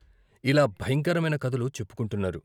ఇలా భయంకరమైన కథలు చెప్పుకొంటున్నారు.